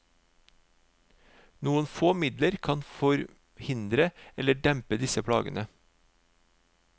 Noen få midler kan forhindre eller dempe disse plagene.